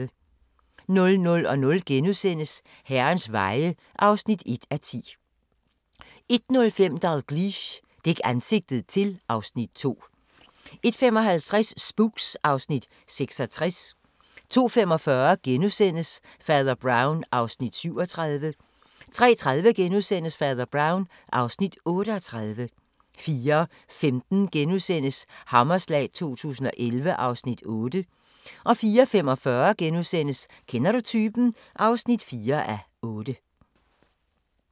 00:00: Herrens veje (1:10)* 01:05: Dalgliesh: Dæk ansigtet til (Afs. 2) 01:55: Spooks (Afs. 66) 02:45: Fader Brown (Afs. 37)* 03:30: Fader Brown (Afs. 38)* 04:15: Hammerslag 2011 (Afs. 8)* 04:45: Kender du typen? (4:8)*